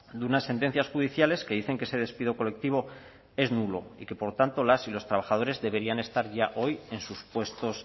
de unas sentencias judiciales que dicen que ese despido colectivo es nulo y que por lo tanto las y los trabajadores deberían estar ya hoy en sus puestos